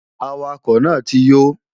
Awakọ̀ náà ti yó